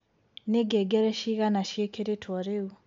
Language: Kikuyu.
ni ngengere cĩĩgana cĩĩkĩrĩtwo riu